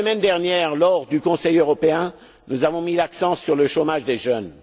La semaine dernière, lors du Conseil européen, nous avons mis l'accent sur le chômage des jeunes.